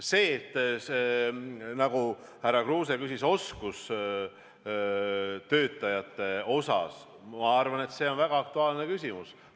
See, mida härra Kruuse küsis oskustöötajate kohta, ma arvan, on aktuaalne küsimus.